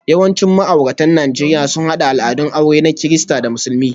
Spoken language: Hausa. Yawancin ma'auratan Najeriya sun haɗa al'adun aure na Kirista da Musulmi,